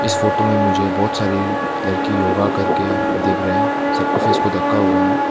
इस फोटो में मुझे बहुत सारी लड़की योगा कर के दिख रहे हैं सब का फेस को ढका हुआ है।